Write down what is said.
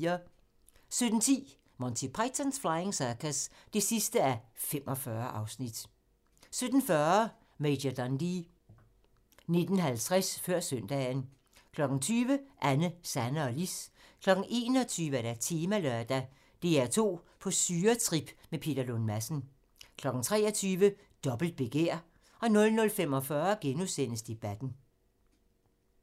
17:10: Monty Python's Flying Circus (45:45) 17:40: Major Dundee 19:50: Før Søndagen 20:00: Anne, Sanne og Lis 21:00: Temalørdag: DR2 på syretrip med Peter Lund Madsen 23:00: Dobbelt begær 00:45: Debatten *